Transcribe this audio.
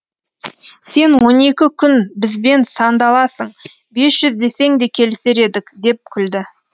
сен он екі күн бізбен сандаласың бес жүз десең де келісер едік деп күлді